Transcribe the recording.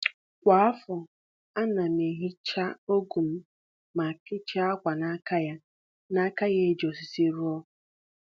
Kwa afọ, ana m ehicha ọgụ m ma kechie ákwà n'aka ya n'aka ya e ji osisi rụọ.